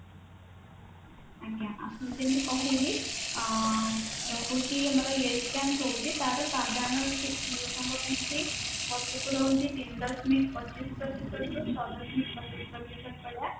ଆଜ୍ଞା ଆପଣଙ୍କୁ ଯେମିତି କହିଲି ଆଁ ରହୁଛି ଗୋଟେ ତାର ସାଧାରଣ ଲୋକଙ୍କ ପାଇଁକି ତିନି ଦଶମିକ ପଚିଶ ପ୍ରତିଶତ